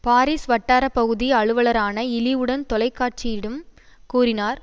Paris வட்டார பகுதி அலுவலரான இழிவுடன் தொலைக்காட்சியிடும் கூறினார்